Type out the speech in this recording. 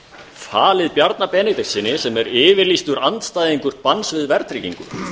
falið bjarna benediktssyni sem er yfirlýstur andstæðingur banns við verðtryggingu